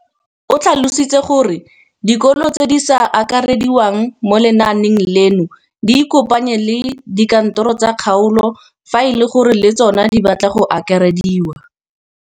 O tlhalositse gore dikolo tse di sa akarediwang mo lenaaneng leno di ikopanye le dikantoro tsa kgaolo fa e le gore le tsona di batla go akarediwa.